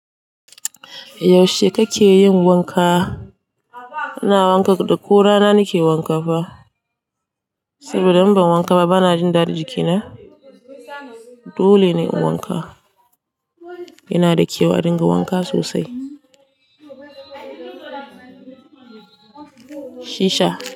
Yaushe kake yin wanka? Ina wanka ko rana nake wanka fa, saboda in ban wanka ba bana jin dadi jikina. Dole ne in wanka. Yana da kyau adinga wanka sosai. Shisha.